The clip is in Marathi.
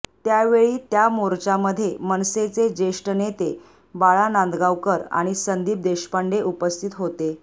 त्यावेळी त्या मोर्चामध्ये मनसेचे जेष्ठ नेते बाळा नांदगावकर आणि संदीप देशपांडे उपस्थित होते